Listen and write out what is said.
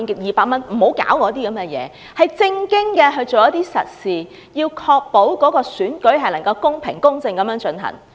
希望當局做正經事、做實事，確保選舉公平公正地進行。